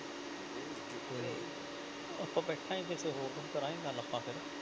ਤੇ ਆਪਾਂ ਬੈਠਾਂਗੇ ਕਿਸੇ ਹੋਰ ਦਿਨ ਕਰਾਂਗੇ ਗੱਲ ਆਪਾਂ ਫਿਰ।